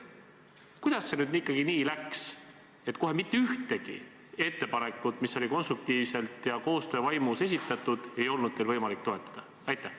Kuidas see nüüd ikkagi nii läks, et kohe mitte ühtegi ettepanekut, mis oli konstruktiivselt ja koostöövaimus esitatud, ei olnud teil võimalik toetada?